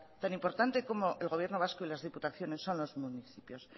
tan importante como el gobierno vasco y las diputaciones son los municipios